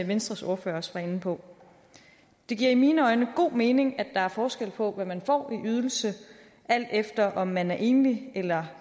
venstres ordfører også var inde på det giver i mine øjne god mening at der er forskel på hvad man får i ydelse alt efter om man er enlig eller